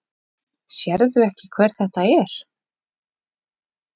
Sérðu ekki hver þetta er?